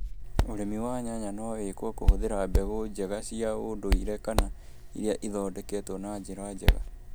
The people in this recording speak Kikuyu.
ũrĩmi wa nyanya no wĩkũo kũhũthĩra mbegũ njega cia ũndũiire kana iria ithondeketwo na njĩra njega